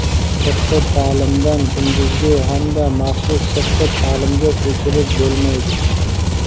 Sirtqi ta’limdan kunduzgi hamda maxsus sirtqi ta’limga ko‘chirib bo‘lmaydi.